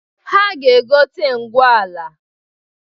Ha ga-egote ngwu ala.